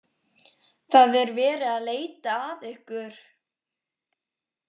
Það er verið að leita að ykkur.